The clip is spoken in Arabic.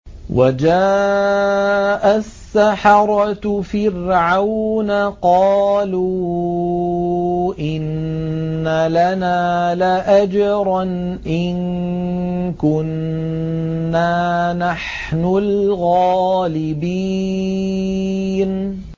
وَجَاءَ السَّحَرَةُ فِرْعَوْنَ قَالُوا إِنَّ لَنَا لَأَجْرًا إِن كُنَّا نَحْنُ الْغَالِبِينَ